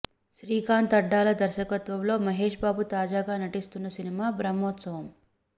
శ్రీకాంత్ అడ్డాల దర్శకత్వంలో మహేష్ బాబు తాజాగా నటిస్తున్న సినిమా బ్రహ్మోత్సవం